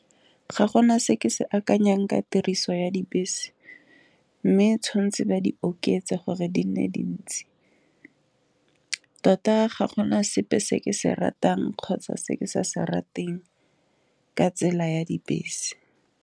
Ga gona se ke se akanyang ka tiriso ya dibese, mme tshwantse ba di oketsa gore di nne dintsi tota ga gona sepe se ke se ratang kgotsa se ke sa se rateng ka tsela ya dibese.